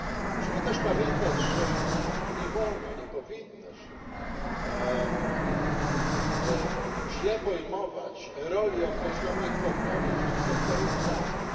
Musimy też pamiętać, że nie wolno, nie powinno się źle pojmować roli określonych podmiotów czy sektorów w państwie.